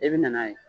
I bɛ na n'a ye